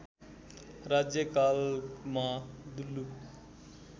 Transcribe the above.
राज्य कालमा दुल्लु